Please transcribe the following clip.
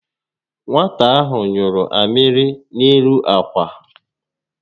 Nwata ahụ nyụrụ amịrị n'elu ákwà